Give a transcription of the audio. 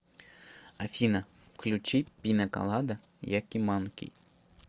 афина включи пина колада якиманки